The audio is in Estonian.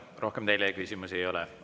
Rohkem teile küsimusi ei ole.